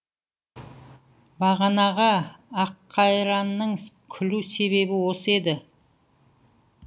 бағанағы аққайранның күлу себебі осы еді